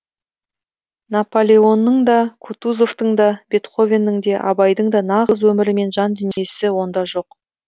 напалеонның да кутузовтың да бетховеннің де абайдың да нағыз өмірі мен жандүниесі онда жоқ